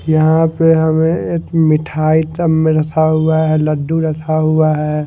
यहाँ पे हमें एक मिठाई का हुआ है लड्डू रखा हुआ हैं।